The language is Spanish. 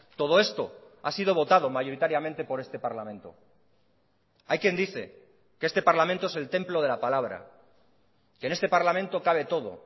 todo esto ha sido votado mayoritariamente por este parlamento hay quien dice que este parlamento es el templo de la palabra que en este parlamento cabe todo